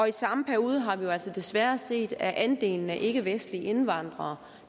i samme periode har vi jo altså desværre set at andelen af ikkevestlige indvandrere